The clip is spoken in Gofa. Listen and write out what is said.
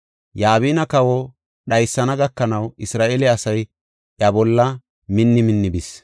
Yabina kawa dhaysana gakanaw Isra7eele asay iya bolla minni minni bis.